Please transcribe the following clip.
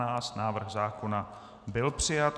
Návrh zákona byl přijat.